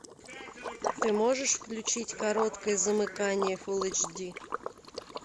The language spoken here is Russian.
ты можешь включить короткое замыкание фул эйч ди